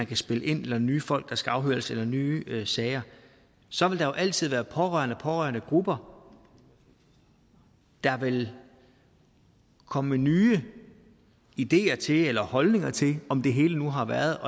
kan spille ind eller nye folk der skal afhøres eller nye sager så vil der altid være pårørende og pårørendegrupper der vil komme med nye ideer til det eller holdninger til om det hele nu har været